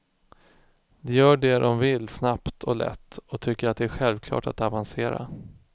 De gör det de vill snabbt och lätt och tycker det är självklart att avancera.